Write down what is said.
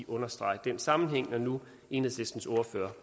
understrege den sammenhæng når nu enhedslistens ordfører